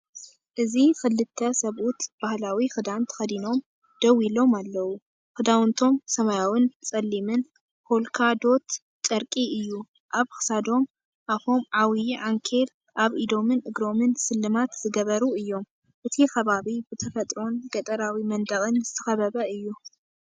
እዚ ክልተ ሰብኡት ባህላዊ ክዳን ተኸዲኖም ደው ኢሎም ኣለዉ፤ ክዳውንቶም ሰማያውን ጸሊምን ፖልካ ዶት ጨርቂ እዩ። ኣብ ክሳዶም ኣፎም ዓብይ ዓንኬል ኣብ ኢዶምን እግሮምን ስልማት ዝገበሩ እዮም። እቲ ከባቢ ብተፈጥሮን ገጠራዊ መንደቕን ዝተኸበበ እዩ።